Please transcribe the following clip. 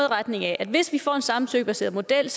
retning af at hvis vi får en samtykkebaseret model